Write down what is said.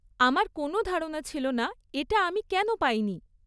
আমার কোনও ধারণা ছিল না এটা আমি কেন পাইনি।